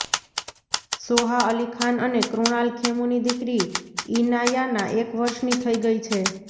સોહા અલી ખાન અને કુણાલ ખેમુની દિકરી ઇનાયાના એક વર્ષની થઇ ગઇ છે